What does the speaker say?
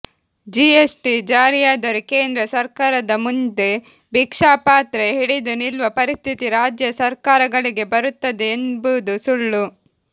GST ಜಾರಿಯಾದರೆ ಕೇಂದ್ರ ಸರ್ಕಾರದ ಮುಂದೆ ಭಿಕ್ಷಾಪಾತ್ರೆ ಹಿಡಿದು ನಿಲ್ಲುವ ಪರಿಸ್ಥಿತಿ ರಾಜ್ಯ ಸರ್ಕಾರಗಳಿಗೆ ಬರುತ್ತದೆ ಎಂಬುದು ಸುಳ್ಳು